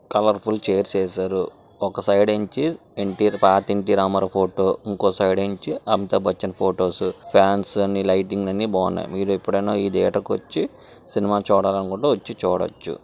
Colour full chairs వేశారు. ఒక side నుంచి ఎన్టీఆర్ పాత ఎన్టీఆర్ రామారావు ఫోటో ఇంకో సైడ్ నుంచి Amitabh Bachchan photos fans అన్ని లైటింగ్ స్ అన్ని బాగున్నాయి. మీరు ఎప్పుడైనా ఈ థియేటర్ కి వచ్చి సినిమా చూడాలనుకుంటే వచ్చి చూడొచ్చు.